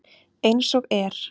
Eins og er.